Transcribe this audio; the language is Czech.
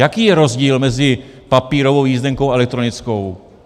Jaký je rozdíl mezi papírovou jízdenkou a elektronickou?